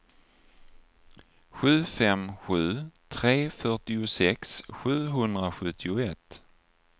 sju fem sju tre fyrtiosex sjuhundrasjuttioett